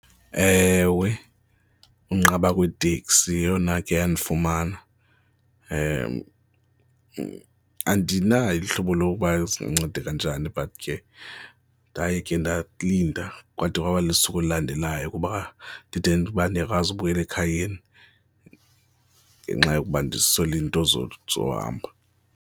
Ewe, unqaba kweeteksi yeyona ikhe yandifumana. Andinalo uhlobo lokuba zindinceda kanjani but ke ndaye ke ndalinda kwade kwaba lisuku elilandelayo kuba ndide uba ndiyakwazi ubuyela ekhayeni ngenxa yokuba ndiswele iinto zohamba.